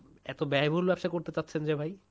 এতো ব্যয়বহুল ব্যবসা করতে চাচ্ছেন যে ভাই?